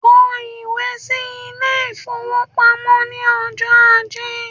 Kọ ìwé sí ilé-ìfowópamọ́ ní ọjọ́ ajé